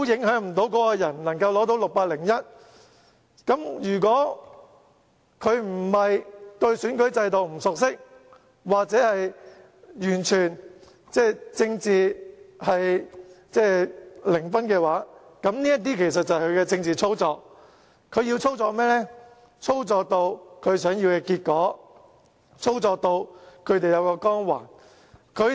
如果不是對選舉制度不熟悉或政治零分，這就是政治操作。要得到反對派想要的結果，令他們有光環。